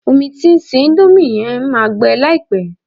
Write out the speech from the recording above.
Omi tí o ń se índómì yẹn máa gbẹ láìpẹ́